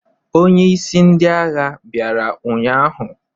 Onye isi ndị agha bịara ụnyahụ?